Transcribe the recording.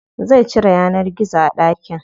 Zai cire yanar gizo a ɗakin.